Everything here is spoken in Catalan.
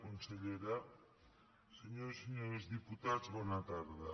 consellera senyores i senyors diputats bona tarda